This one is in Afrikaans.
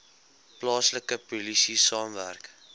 plaaslike polisie saamwerk